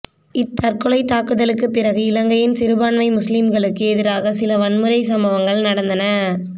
இத்தற்கொலைத் தாக்குதலுக்குப் பிறகு இலங்கையின் சிறுபான்மை முஸ்லிம்களுக்கு எதிராக சில வன்முறை சம்பவங்கள் நடந்தன